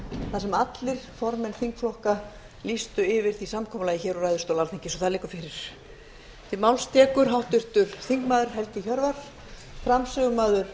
þar sem allir formenn þingflokka lýstu sig samþykka því úr ræðustóli alþingis það liggur fyrir